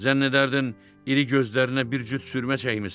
Zənn edərdin iri gözlərinə bir cüt sürmə çəkmisən.